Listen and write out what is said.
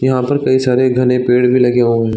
यहाँ पर कई सारे घने पेड़ भी लगे हुए --